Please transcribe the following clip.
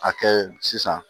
A kɛ sisan